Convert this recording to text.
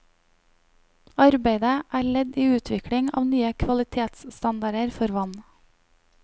Arbeidet er ledd i utvikling av nye kvalitetsstandarder for vann.